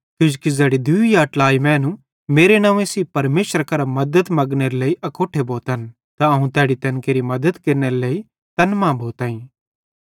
किजोकि ज़ैड़ी दूई या ट्लाई मैनू मेरे नव्वें सेइं परमेशरे करां मद्दत मगनेरे लेइ अकोट्ठे भोतन अवं तैड़ी तैन केरि मद्दत केरनेरे लेइ तैन मां भोइताईं